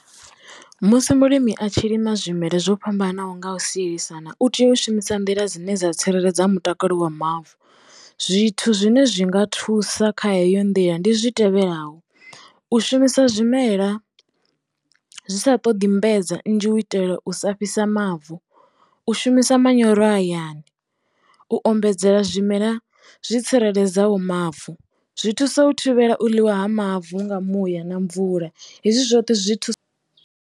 Musi mulimi a tshi lima zwimela zwo fhambanaho nga u sielisana, u tea u shumisa nḓila dzine dza tsireledza mutakalo wa mavu zwithu zwine zwi nga thusa kha heyo nḓila ndi zwi tevhelaho, u shumisa zwimela zwi sa ṱoḓi nnzhi u itela u sa fhisa mavu u shumisa manyoro hayani u ombedzela zwimela zwi tsireledzeaho mavu zwi thusa u thivhela u ḽiwa ha mavu nga muya na mvula hezwi zwoṱhe zwi thusa.